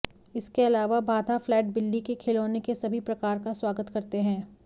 इसके अलावा बाधा फ्लैट बिल्ली के खिलौने के सभी प्रकार का स्वागत करते हैं